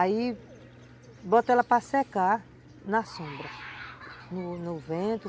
Aí bota ela para secar na sombra, no vento.